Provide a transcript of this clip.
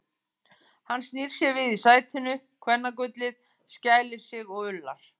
Hann snýr sér við í sætinu, kvennagullið, skælir sig og ullar.